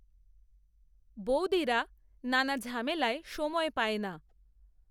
বৌদিরা নানা ঝামেলায় সময় পায় না।